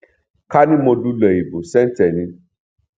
ká ní mo lulẹ ìbò sẹǹtẹ ni